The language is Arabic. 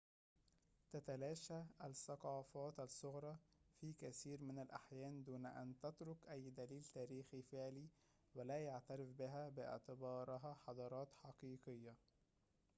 تتلاشى الثقافات الصغرى في كثير من الأحيان دون أن تترك أي دليل تاريخي فعلي ولا يُعترف بها باعتبارها حضارات حقيقية